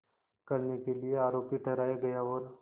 करने के लिए आरोपी ठहराया गया और